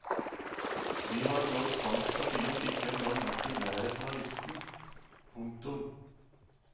De har når sant skal sies ikke engang vært i nærheten av listen. punktum